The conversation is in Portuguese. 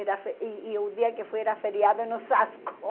Era foi e e o dia que fui era feriado em Osasco.